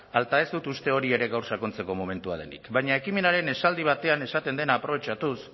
ez dut uste hori ere gaur sakontzeko momentua denik baina ekimenaren esaldi batean esaten den aprobetxatuz